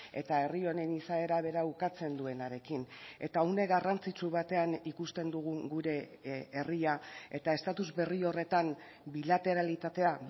eta herri honen izaera bera ukatzen duenarekin eta une garrantzitsu batean ikusten dugu gure herria eta estatus berri horretan bilateralitatea